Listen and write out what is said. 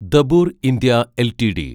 Dabur India LTD